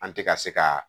An tɛ ka se ka